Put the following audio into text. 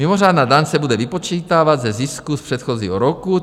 "Mimořádná daň se bude vypočítávat ze zisku z předchozího roku.